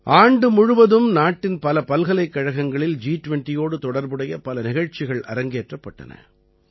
ஆண்டு முழுவதும் நாட்டின் பல பல்கலைக்கழகங்களில் ஜி20யோடு தொடர்புடைய பல நிகழ்ச்சிகள் அரங்கேற்றப்பட்டன